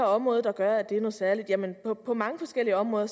område der gør at det er noget særligt jamen på mange forskellige områder